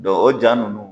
o ja ninnu